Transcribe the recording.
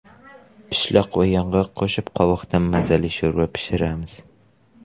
Pishloq va yong‘oq qo‘shib qovoqdan mazali sho‘rva pishiramiz.